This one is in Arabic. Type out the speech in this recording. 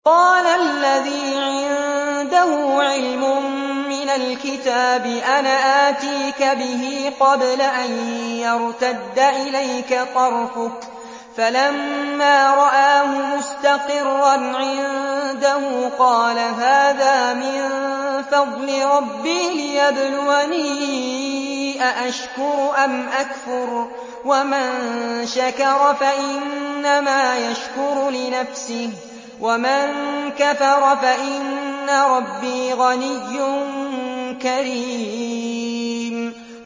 قَالَ الَّذِي عِندَهُ عِلْمٌ مِّنَ الْكِتَابِ أَنَا آتِيكَ بِهِ قَبْلَ أَن يَرْتَدَّ إِلَيْكَ طَرْفُكَ ۚ فَلَمَّا رَآهُ مُسْتَقِرًّا عِندَهُ قَالَ هَٰذَا مِن فَضْلِ رَبِّي لِيَبْلُوَنِي أَأَشْكُرُ أَمْ أَكْفُرُ ۖ وَمَن شَكَرَ فَإِنَّمَا يَشْكُرُ لِنَفْسِهِ ۖ وَمَن كَفَرَ فَإِنَّ رَبِّي غَنِيٌّ كَرِيمٌ